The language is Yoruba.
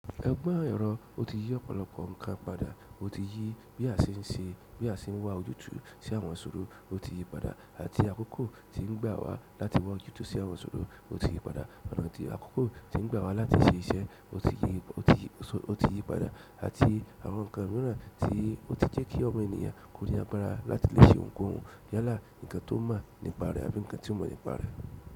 Ogbọn ẹrọ, o ti yi ọ̀pọ̀lọpọ̀ ǹkan padà. O ti yi bi a ṣe n ṣe, bi a ṣe n wa ojútùú sí àwọn isọ̀rọ̀, o ti yi padà. Àti àkókò tí n gbà wa láti wa ojútùú sí àwọn isọ̀rọ̀, o ti yi padà. Ọ̀nà àti àkókò tí n gbà wa láti ṣe iṣẹ́, o ti yi padà. Àti àwọn ǹkan míràn tí o ti jẹ́ kí ọmọ ènìyàn kó ni agbára láti lè ṣe ohunkóhun yálà ǹkan tó mọ̀ nípa rẹ̀ àbí ǹkan tí ó mọ̀ nípa rẹ̀.